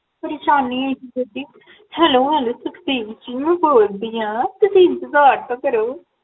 ਪਰੇਸ਼ਾਨੀ ਹੈਗੀ ਜੀ Hello Hello ਸੁਖਦੇਵ ਜੀ ਬੋਲਦੀ ਹਾਂ ਤੁਸੀਂ ਇੰਤਜ਼ਾਰ ਤਾ ਕਰੋ